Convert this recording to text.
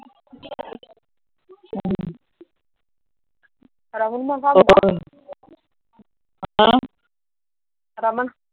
Raman ਦਾ